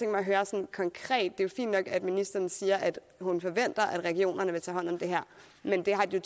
at høre sådan konkret det er jo fint nok at ministeren siger at hun forventer at regionerne vil tage hånd om det her men det har de